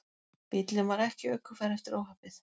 Bíllinn var ekki ökufær eftir óhappið